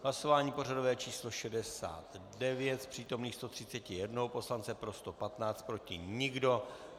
Hlasování pořadové číslo 69, z přítomných 131 poslance pro 115, proti nikdo.